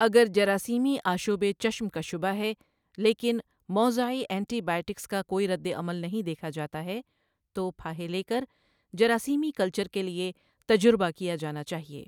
اگر جراثیمی آشوب چشم کا شبہ ہے، لیکن موضعی اینٹی بائیوٹکس کا کوئی رد عمل نہیں دیکھا جاتا ہے، تو پھاہے لے کر جراثیمی کلچر کے لیے تجربہ کیا جانا چاہیے۔